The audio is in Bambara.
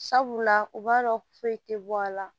Sabula u b'a dɔn foyi tɛ bɔ a la